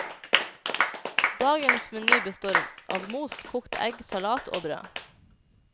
Dagens meny består av most kokt egg, salat og brød.